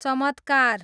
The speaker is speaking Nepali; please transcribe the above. चमत्कार